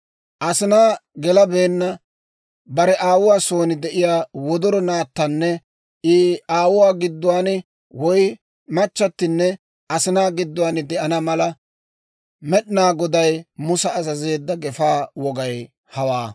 Asinaa gelabeenna, bare aawuwaa son de'iyaa wodoro naattanne I aawuwaa gidduwaan woy machchatinne asinaa gidduwaan de'ana mala, Med'inaa Goday Musa azazeedda gefaa wogay hawaa.